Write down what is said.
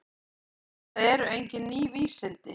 Þetta eru engin ný vísindi.